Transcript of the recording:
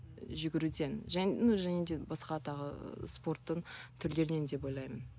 жүгіруден және ну және де басқа тағы ыыы спорттың түрлерінен деп ойлаймын